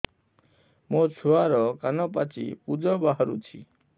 ମୋ ଛୁଆର କାନ ପାଚି ପୁଜ ବାହାରୁଛି